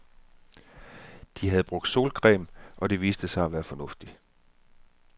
De havde brugt solcreme, og det viste sig at være fornuftigt.